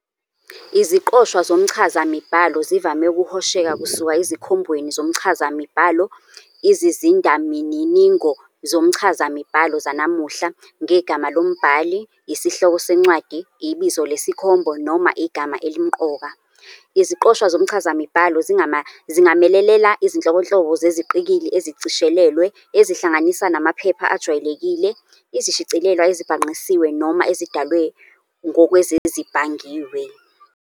Iziqoshwa zomchazamibhalo zivame ukuhosheka kusuka ezikhombweni zomchazamibhalo, izizindamininingo zomchazamibhalo zanamuhla, ngegama lombhali, isihloko sencwadi, ibizo lesikhombo, noma igama elimqoka. Iziqoshwa zomchazamibhalo zingamelela izinhlobonhlobo zeziqikili ezishicilelwe, ezihlanganisa namaphepha ajwayelekile, izishicilelwa ezibhangqisiwe noma ezidalwe ngokwezezibhangiwe.